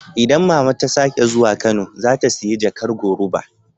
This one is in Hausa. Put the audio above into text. Idan mama ta sake zuwa Kano, za ta siya jakar goruba.